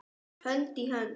Hönd í hönd.